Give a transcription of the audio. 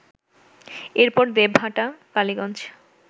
এরপর দেবহাটা, কালীগঞ্জ